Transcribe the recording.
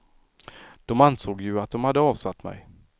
De ansåg ju att de hade avsatt mig.